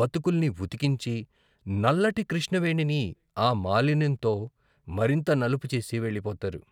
బతుకుల్నీ ఉతికించి నల్లటి కృష్ణవేణిని ఆ మాలిన్యంతో మరింత నలుపుచేసి వెళ్ళిపోతారు.......